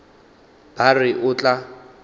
ba a re o tla